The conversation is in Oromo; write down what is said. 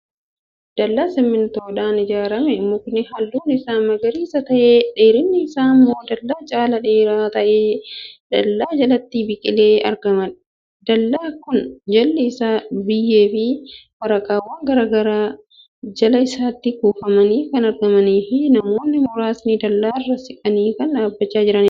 Dallaa simintoodhaan ijaarame. mukni halluun Isaa magariisa ta'e, dheerinni Isaa immoo dallaa caalaa dheeraa ta'e dallaa jalatti biqilee argama. dallaa Kun jalli Isaa biyyeefi waraqaawwaan garagaraa Jala isaatti kufanii Kan argamaniifi namoonni muraasni dallaarra siiqanii Kan dhaabachaa jiraniidha